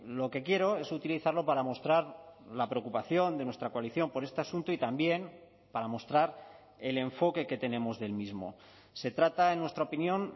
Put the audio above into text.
lo que quiero es utilizarlo para mostrar la preocupación de nuestra coalición por este asunto y también para mostrar el enfoque que tenemos del mismo se trata en nuestra opinión